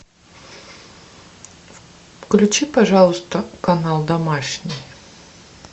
включи пожалуйста канал домашний